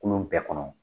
Kolon bɛɛ kɔnɔ